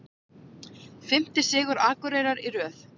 Fimmti sigur Akureyrar í röð